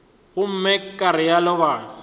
gomme ka go realo ba